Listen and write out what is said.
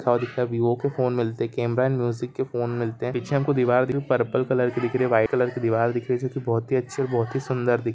दिखता है विवो के फोन मिलते है केमरा एंड म्युसिक के फोन मिलते है पीछे हमको दीवार दिख रही परपल कलर की दिख रही है वाईट कलर की दीवार दिख रही है जोकि बहुत ही अच्छी बहुत ही सुन्दर दिख--